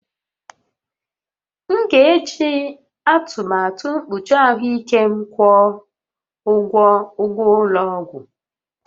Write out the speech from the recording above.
M ga-eji atụmatụ mkpuchi ahụike m kwụọ ụgwọ ụgwọ ụlọ ọgwụ